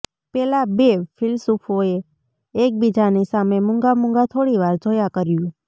પેલા બે ફિલસૂફોએ એકબીજાની સામે મૂંગામૂંગા થોડીવાર જોયા કર્યું